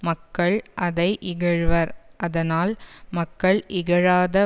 மக்கள் அதை இகழ்வர் அதனால் மக்கள் இகழாத